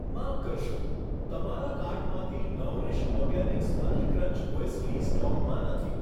માફ કરશો, તમારા કાર્ટમાંથી Nourish Organics honey crunch muesli સ્ટોકમાં નથી.